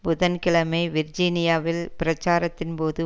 புதன் கிழமை விர்ஜினியாவில் பிரச்சாரத்தின் போது